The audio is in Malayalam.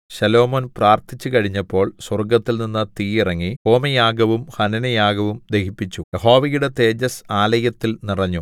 ശലോമോൻ പ്രാർത്ഥിച്ചു കഴിഞ്ഞപ്പോൾ സ്വർഗ്ഗത്തിൽനിന്ന് തീ ഇറങ്ങി ഹോമയാഗവും ഹനനയാഗവും ദഹിപ്പിച്ചു യഹോവയുടെ തേജസ്സ് ആലയത്തിൽ നിറഞ്ഞു